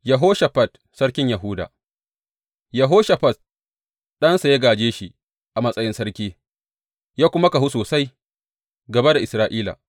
Yehoshafat sarkin Yahuda Yehoshafat ɗansa ya gāje shi a matsayin sarki ya kuma kahu sosai gāba da Isra’ila.